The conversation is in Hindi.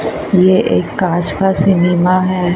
ये एक कांच का सीनीमा है।